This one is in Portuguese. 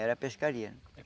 Era pescaria.